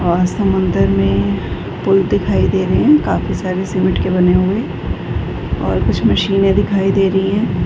और समुंदर में पुल दिखाई दे रहे हैं काफी सारे सीमेंट के बने हुए और कुछ मशीनें दिखाई दे रही हैं।